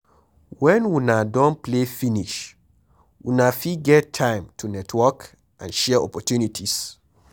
When una don play finish una fit get time to network and share opportunities